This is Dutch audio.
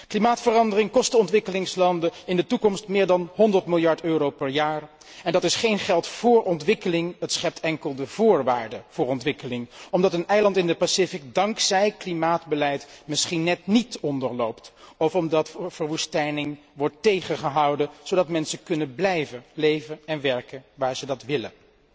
Klimaatverandering kost de ontwikkelingslanden in de toekomst meer dan 100 miljard euro per jaar. Dat is geen geld voor ontwikkeling, het schept enkel de voorwaarden voor ontwikkeling, omdat een eiland in de Stille Oceaan dankzij klimaatbeleid misschien net niet onderloopt, of omdat verwoestijning wordt tegengehouden, zodat mensen kunnen blijven leven en werken waar ze dat willen.